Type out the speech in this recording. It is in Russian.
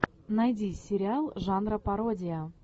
найди сериал жанра пародия